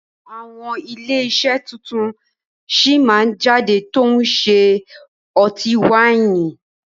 Àwọn ilé iṣẹ́ tuntun sí máa jáde tòun ṣe ọtí wáìnì